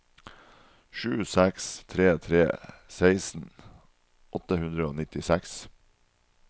sju seks tre tre seksten åtte hundre og nittiseks